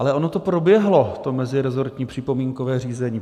Ale ono to proběhlo, to meziresortní připomínkové řízení.